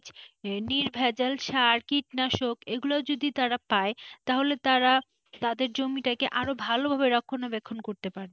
নির্ভেজাল সার কীটনাশক এগুলো যদি তারা পায় তাহলে তারা তাদের জমিটাকে আরো ভালোভাবে রক্ষণাবেক্ষণ করতে পারবে।